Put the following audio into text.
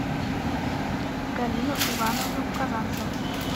галину ивановну казанцеву